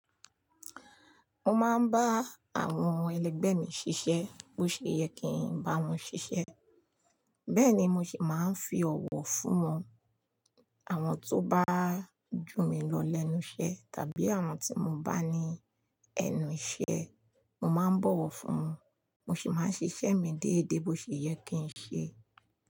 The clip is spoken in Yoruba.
Mo máa ń bá àwọn ẹlẹgbẹ́ mi ṣiṣẹ́ bó ṣe yẹ kí n bá wọn ṣiṣẹ́. Bẹ́ẹ̀ ni mo sì máa ń fi ọ̀wọ̀ fún wọn. Àwọn tó bá jù mí lọ lẹ́nu iṣẹ́ tàbí àwọn tí mo bá ní ẹnu iṣẹ́, mo máa ń bọ̀wọ̀ fún wọn. Mo sì máa ń ṣiṣẹ́ mi déédé bó ṣe yẹ kí n ṣe.